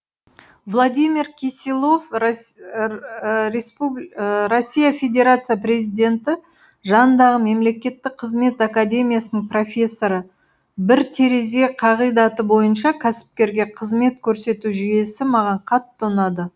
владимир киселов россия федерациясы президенті жанындағы мемлекеттік қызмет академиясының профессоры бір терезе қағидаты бойынша кәсіпкерге қызмет көрсету жүйесі маған қатты ұнады